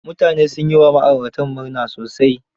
mutane sun yi wa ma'ayratan murna sosai.